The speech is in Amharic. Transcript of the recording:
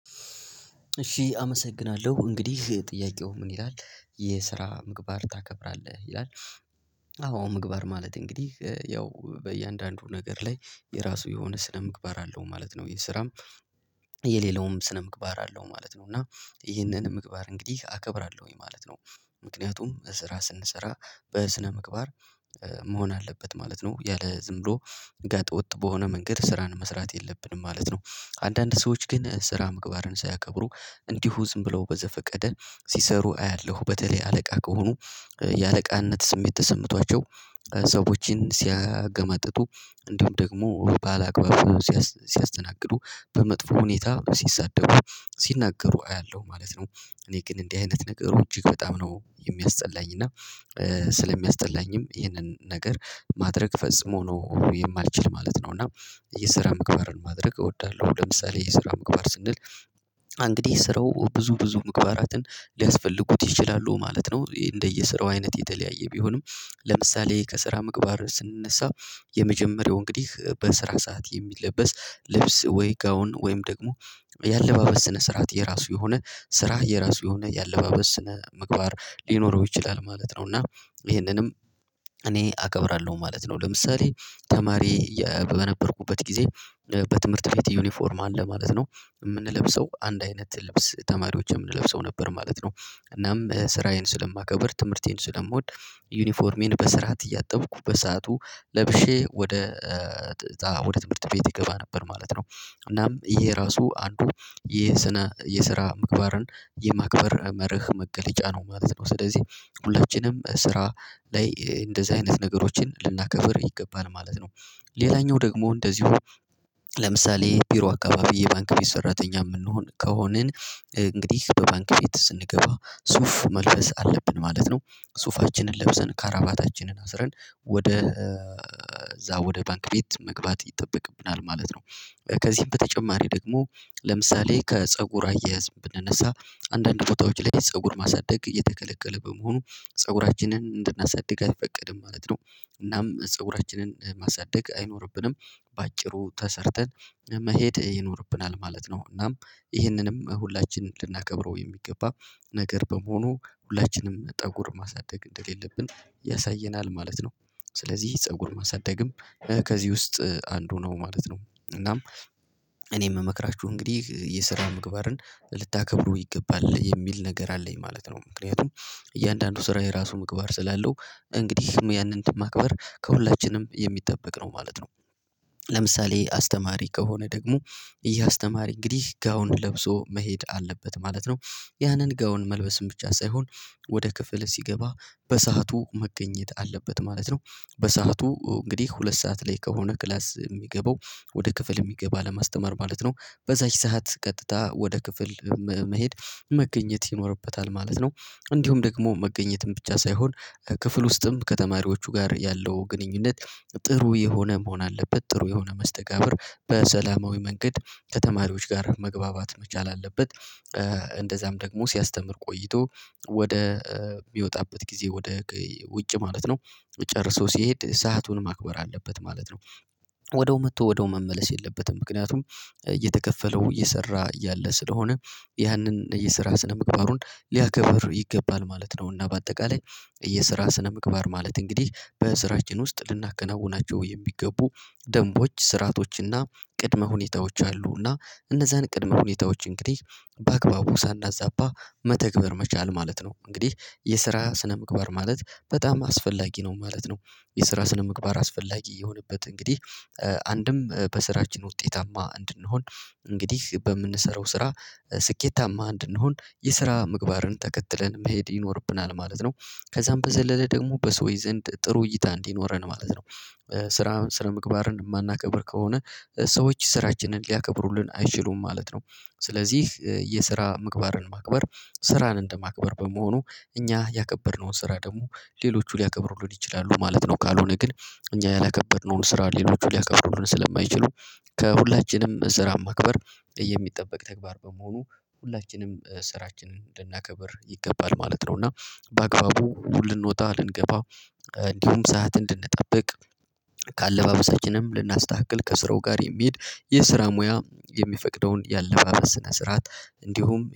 እሺ አመሰግናለሁ እንግዲህ ጥያቄው ምን ይላል? የስራ ምግባር ታከብራለህ? ይላል አዎ ምግባር ማለት እንግዲህ ያው በእያንዳንዱ ነገር ላይ የራሱ የሆነ ስለ ምግባር አለው ማለት ነው። ይሄ ስራም የሌለውም ስነ ምግባር አለው ማለት ነው። እና ይሄንንም ምግባር እንግዲህ አከብራለሁኝ። ማለት ነው። ምክንያቱም ስራ ስንሰራ በስነ ምግባር መሆን አለበት ማለት ነው። ያለ ዝም ብሎ ጋጠ ወጥ በሆነ መንገድ ስራን መስራት የለብንም ማለት ነው። አንዳንድ ሰዎች ግን ስራ ምግባርን ሳያከብሩ እንዲሁ ዝም ብለው በዘፈቀደ ሲሰሩ አያለሁ በተለይ አለቃ ከሆኑ የአለቃነት ስሜት ተሰምቷቸው ሰዎችን ሲያገመጥጡ እንደውም ደግሞ ባለአግባቡ ሲያስተናግዱ በመጥፎ ሁኔታ ሲሳደዱ ሲናገሩ አያለሁ ማለት ነው። እኔ ግን እንዲህ አይነት ነገር እጅግ በጣም ነው የሚያስጠላኝ እና ስለሚያስጠላኝም ይህንን ነገር ማድረግ ፈጽሞ ነው የማልችል ማለት ነው እና የስራ ምግባርን ማድረግ እወዳለሁ ለምሳሌ የስራ ምግባር ስንል እንግዲህ ስራው ብዙ ብዙ ምግባራትን ሊያስፈልጉት ይችላሉ ማለት ነው እንደየስራው አይነት የተለያየ ቢሆንም ለምሳሌ ከስራ ምግባር ስንነሳ የመጀመሪያው እንግዲህ በስራ ሰዓት የሚለበስ ልብስ ወይ ጋውን ወይም ደግሞ የአለባበስ ስነ ስርዓት የራሱ የሆነ ስራ የራሱ የሆነ የአለባበስ ስነ ምግባር ሊኖረው ይችላል። ማለት ነው። እና ይሄንንም እኔ አከብራለሁ። ማለት ነው። ለምሳሌ ተማሪ በነበርኩበት ጊዜ በትምህርት ቤት ዩኒፎርም አለ ማለት ነው። የምንለብሰው አንድ አይነት ልብስ ተማሪዎችን የምንለብሰው ነበር ማለት ነው። እናም ስራዬን ስለማከብር ትምህርቴን ስለምወድ ዩኒፎርሜን በስርዓት እያጠብኩ በሰአቱ ለብሼ ወደ ወደ ትምህርት ቤት ይገባ ነበር ማለት ነው። እናም ይሄ ራሱ አንዱ የስነ የስራ ምግባርን የማክበር መርህ መገለጫ ነው ማለት ነው። ስለዚህ ሁለችንም ስራ ላይ እንደዚህ አይነት ነገሮችን ልናከብር ይገባል ማለት ነው። ሌላኛው ደግሞ እንደዚሁ ለምሳሌ ቢሮ አካባቢ የባንክ ሰራተኛ የምንሆን ከሆንን እንግዲህ ገባን ከቤት ስንገባ ሱፍ መልበስ አለብን። ማለት ነው ሱፋችንን ለብሰን ካራባታችንን አስረን ወደ እዛ ወደ ባንክ ቤት መግባት ይጠበቅብናል ማለት ነው። ከዚህም በተጨማሪ ደግሞ ለምሳሌ ከፀጉር አያያዝ ብንነሳ አንዳንድ ቦታዎች ላይ ፀጉር ማሳደግ እየተከለከለ በመሆኑ ፀጉራችንን እንድናሳድግ አይፈቀድም ማለት ነው። እናም ፀጉራችንን ማሳደግ አይኖርብንም በአጭሩ ተሰርተን መሄድ ይኖርብናል። ማለት ነው። እናም ይህንንም ሁላችንም ልናከብረው የሚገባ ነገር በመሆኑ ሁላችንም ጠጉር ማሳደግ እንደሌለብን ያሳየናል ማለት ነው። ስለዚህ ፀጉር ማሳደግም ከዚህ ውስጥ አንዱ ነው ማለት ነው። እናም እኔ የምመክራችሁ እንግዲህ የስራ ምግባርን ልታከብሩ ይገባል። የሚል ነገር አለኝ ማለት ነው። ምክንያቱም እያንዳንዱ ስራ የራሱ ምግባር ስላለው እንግዲህ ደግሞ ያንን ማክበር ከሁላችንም የሚጠበቅ ነው ማለት ነው። ለምሳሌ አስተማሪ ከሆነ ደግሞ እያስተማሪ እንግዲህ ጋውንድ ለብሶ መሄድ አለበት። ማለት ነው። ያንን ጋውን መልበስም ብቻ ሳይሆን ወደ ክፍል ሲገባ በሰአቱ መገኘት አለበት ማለት ነው። በሰአቱ እንግዲህ ሁለት ሰዓት ላይ ከሆነ ክላስ የሚገባው ወደ ክፍል የሚገባ ለማስተማር ማለት ነው በዛች ሰዓት ቀጥታ ወደ ክፍል መሄድ መገኘት ይኖርበታል ማለት ነው። እንዲሁም ደግሞ መገኘትም ብቻ ሳይሆን ክፍል ውስጥም ከተማሪዎቹ ጋር ያለው ግንኙነት ጥሩ የሆነ መሆን አለበት ጥሩ የሆነ መስተጋብር በሰላማዊ መንገድ ከተማሪዎች ጋር መግባባት መቻል አለበት እንደዛም ደግሞ ሲያስተምር ቆይቶ ወደ የሚወጣበት ጊዜ ወደ ውጭ ማለት ነው ጨርሶ ሲሄድ ሰአቱን ማክበር አለበት ማለት ነው። ወደው መጥቶ ወደው መመለስ የለበትም ምክንያቱም እየተከፈለው እየሰራ እያለ ስለሆነ ያንን የስራ ስነ ምግባሩን ሊያከብር ይገባል ማለት ነው። እና በአጠቃላይ የስራ ስነምግባር ማለት እንግዲህ በስራችን ውስጥ ልናከናውናቸው የሚገቡ ደንቦች ስርአቶችና ቅድመ ሁኔታዎች አሉና እነዛን ቅድመ ሁኔታዎች እንግዲህ በአግባቡ ሳናዛባ መተግበር መቻል ማለት ነው። እንግዲህ የስራ ስነምግባር ማለት በጣም አስፈላጊ ነው። ማለት ነው። የስራ ስነምግባር አስፈላጊ የሆነበት እንግዲህ አንድም በስራችን ውጤታማ እንድንሆን እንግዲህ በምንሰራው ስራ ስኬታማ እንድንሆን የስራ ምግባርን ተከትለን መሄድ ይኖርብናል። ማለት ነው። ከዛም በዘለለ ደግሞ በሰውዬ ዘንድ ጥሩ እይታ እንዲኖረን ማለት ነው። ስራ ስለ ምግባርን የማናከብር ከሆነ ሰዎች ስራችንን ሊያከብሩልን አይችሉም። ማለት ነው ስለዚህ የስራ ምግባርን ማክበር ስራን እንደማክበር በመሆኑ እኛ ያከበርነውን ስራ ደግሞ ሌሎቹ ሊያከብሩልን ይችላሉ። ማለት ነው። ካልሆነ ግን እኛ ያላከበርነውን ስራ ሌሎቹ ሊያከብሩልን ስለማይችሉ ከሁላችንም ስራ ማክበር የሚጠበቅ ተግባር በመሆኑ ሁላችንም ስራችንን እንድናከብር ይገባል ማለት ነው። እና በአግባቡ ልንወጣ ልንገባ እንዲሁም ሰዓት እንድንጠብቅ ከአለባበሳችንም ልናስተካክል ከስራው ጋር የሚሄድ የስራ ሙያ የሚፈቅደውን ያለባበስ ስነ ስርዓት እንዲሁም